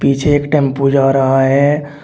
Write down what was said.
यह एक टेंपो जा रहा है।